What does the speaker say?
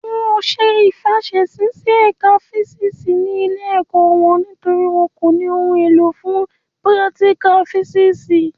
Won ò ṣe ìfàsẹsí sí ẹ̀ka físìsì ní ilé ẹ̀kọ́ wọn nítorí wọn ò ní ohun èlò fún pírátíkà físìsì